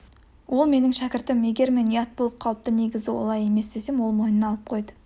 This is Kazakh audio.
ол менің шәкіртім егер мен ұят болып қалыпты негізі олай емес десем ол мойнына алып қойды